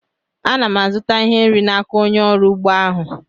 A na m azụta ihe nri n'aka onye ọrụ ugbo ahụ